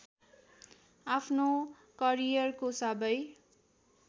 आफ्नो करियरको सबै